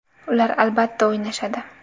Ular albatta o‘ynashadi.